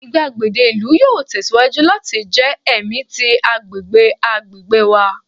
igbagede ilu yoo tẹsiwaju lati jẹ ẹmi ti agbegbe agbegbe wa